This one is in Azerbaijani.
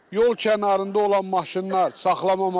Yol kənarında olan maşınlar saxlanmamalıdır.